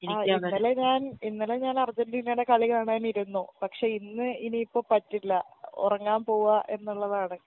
ആ ഇന്നലെ ഞാൻ ഇന്നലെ ഞാനർജന്റീനടെ കളി കാണാനിരിന്നു പക്ഷെ ഇന്ന് ഇനിപ്പോ പറ്റില്ല ഒറങ്ങാം പോവാ എന്ന്ള്ളതാണ്